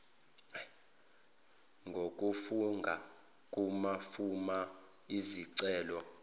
ngokufunga kumafomu ezicelo